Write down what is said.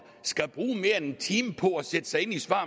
skal bruge mere end en time på at sætte sig ind i svar